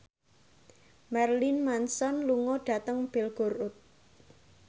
Marilyn Manson lunga dhateng Belgorod